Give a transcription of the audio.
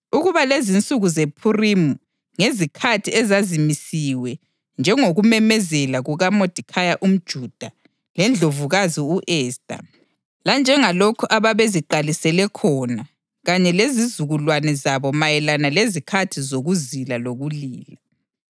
ukuba lezinsuku zePhurimi ngezikhathi ezazimisiwe, njengokumemezela kukaModekhayi umJuda leNdlovukazi u-Esta, lanjengalokhu ababeziqalisele khona kanye lezizukulwane zabo mayelana lezikhathi zokuzila lokulila.